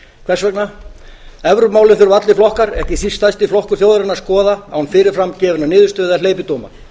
þess vegna evrópumálin þurfa allir flokkar ekki síst stærsti flokkur þjóðarinnar að skoða án fyrir fram gefinnar niðurstöðu eða hleypidóma